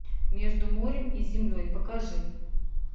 между морем и землей покажи